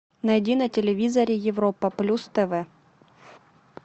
найди на телевизоре европа плюс тв